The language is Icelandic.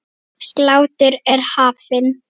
Sláttur er hafinn.